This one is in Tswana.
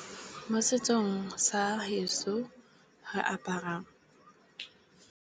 Mo setsong sa heso re apara.